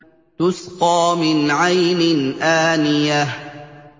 تُسْقَىٰ مِنْ عَيْنٍ آنِيَةٍ